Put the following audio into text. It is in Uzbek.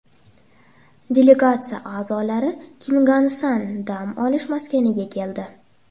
Delegatsiya a’zolari Kimgansan dam olish maskaniga keldi.